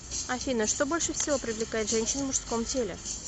афина что больше всего привлекает женщин в мужском теле